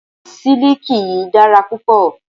Siliki yìí dára púpọ̀.